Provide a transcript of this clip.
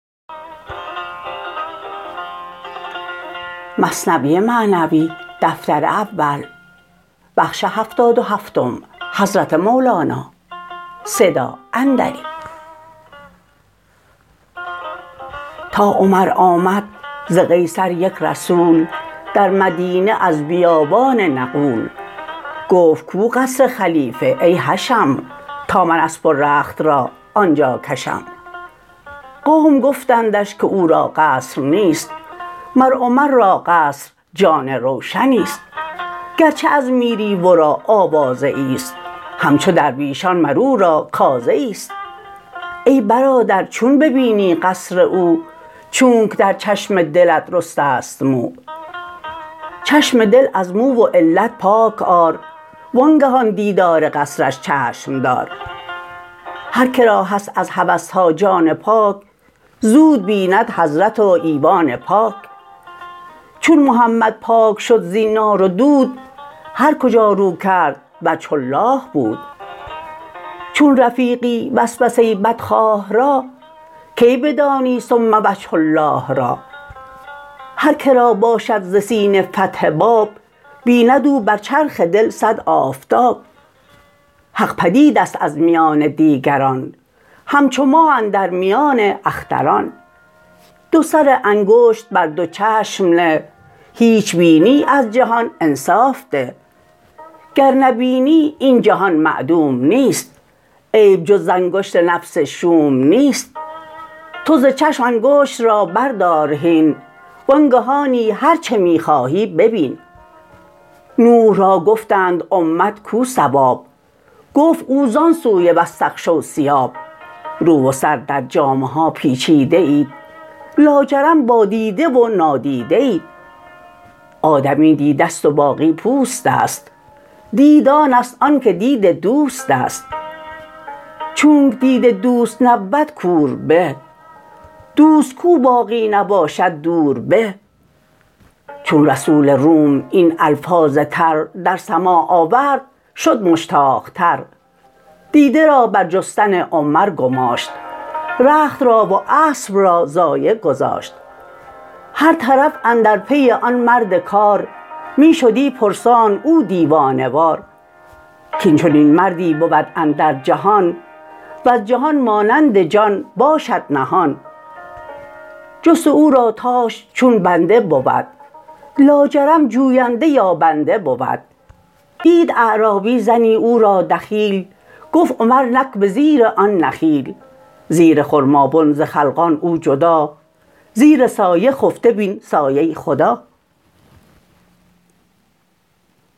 تا عمر آمد ز قیصر یک رسول در مدینه از بیابان نغول گفت کو قصر خلیفه ای حشم تا من اسپ و رخت را آنجا کشم قوم گفتندش که او را قصر نیست مر عمر را قصر جان روشنیست گرچه از میری ورا آوازه ایست همچو درویشان مر او را کازه ایست ای برادر چون ببینی قصر او چونک در چشم دلت رسته ست مو چشم دل از مو و علت پاک آر وانگه آن دیدار قصرش چشم دار هر که را هست از هوسها جان پاک زود بیند حضرت و ایوان پاک چون محمد پاک شد زین نار و دود هر کجا رو کرد وجه الله بود چون رفیقی وسوسه بدخواه را کی بدانی ثم وجه الله را هر که را باشد ز سینه فتح باب بیند او بر چرخ دل صد آفتاب حق پدیدست از میان دیگران همچو ماه اندر میان اختران دو سر انگشت بر دو چشم نه هیچ بینی از جهان انصاف ده گر نبینی این جهان معدوم نیست عیب جز ز انگشت نفس شوم نیست تو ز چشم انگشت را بردار هین وانگهانی هرچه می خواهی ببین نوح را گفتند امت کو ثواب گفت او زان سوی واستغشوا ثیاب رو و سر در جامه ها پیچیده اید لاجرم با دیده و نادیده اید آدمی دیدست و باقی پوستست دید آنست آن که دید دوستست چونک دید دوست نبود کور به دوست کو باقی نباشد دور به چون رسول روم این الفاظ تر در سماع آورد شد مشتاق تر دیده را بر جستن عمر گماشت رخت را و اسپ را ضایع گذاشت هر طرف اندر پی آن مرد کار می شدی پرسان او دیوانه وار کین چنین مردی بود اندر جهان وز جهان مانند جان باشد نهان جست او را تاش چون بنده بود لاجرم جوینده یابنده بود دید اعرابی زنی او را دخیل گفت عمر نک به زیر آن نخیل زیر خرمابن ز خلقان او جدا زیر سایه خفته بین سایه خدا